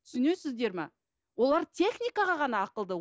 түсінесіздер ме олар техникаға ғана ақылды